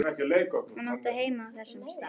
Hún átti heima á þessum stað.